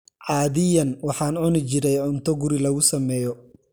Caadiyan, waxaan cuni jiray cunto guri lagu sameeyo.